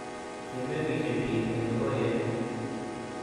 kimengishei biik eng nyokoryet